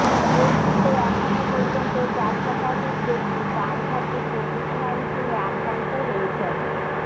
দেশটিতে এখন পর্যন্ত চার শতাধিক ব্যক্তি প্রাণঘাতী কোভিড নাইন্টিনে আক্রান্ত হয়েছেন